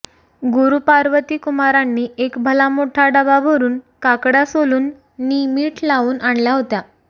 गुरू पार्वती कुमारांनी एक भला मोठ्ठा डबा भरून काकडय़ा सोलून नि मीठ लावून आणल्या होत्या